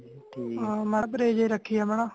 ਮਾੜਾ ਪਰਹੇਜ ਰਖੀਏ ਅਪਣਾ